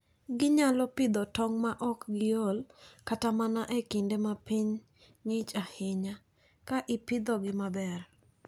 Ginyalo pidho tong' maok giol kata mana e kinde ma piny ng'ich ahinya, ka ipidhogi maber.